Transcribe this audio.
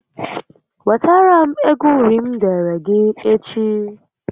Wetara m égo uri m deere gị echi